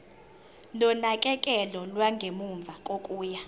nonakekelo lwangemuva kokuya